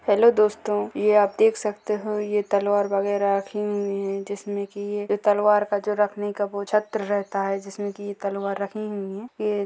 hello दोस्तों ये आप देख सकते हो ये तलवार वगैरह रखी हुई हैं जिसमें की ये तलवार का जो रखने का वो छत्र रहता हैं जिसमें की ये तलवार रखी हुई हैं ये--